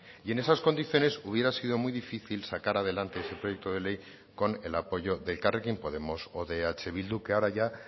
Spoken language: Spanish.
y en esas condiciones hubiera sido muy difícil sacar adelante ese proyecto de ley con el apoyo de elkarrekin podemos o de eh bildu que ahora ya